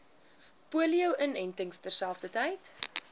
polio inentings terselfdertyd